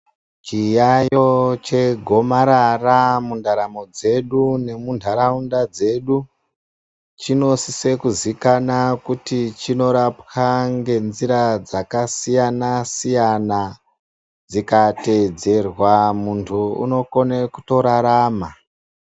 Chiyayo chegomarara mundaramo dzedu nemuntaraunda dzedu chino siso kuzikanwa kuti chinorapwe nenjira dzakasiyana siyana dzikateedzerwa muntu unokone kutorarama.